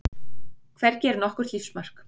Hvergi var nokkurt lífsmark.